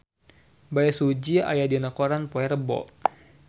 Bae Su Ji aya dina koran poe Rebo